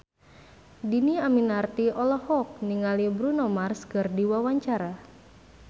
Dhini Aminarti olohok ningali Bruno Mars keur diwawancara